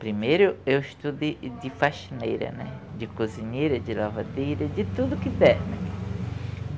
Primeiro eu eu estudo e de faxineira, de cozinheira, de lavadeira, de tudo que der, né.